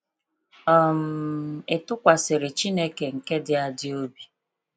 um Ị tụkwasịrị Chineke nke dị adị obi?